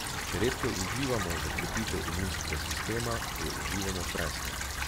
Če redkev uživamo za krepitev imunskega sistema, jo uživamo presno.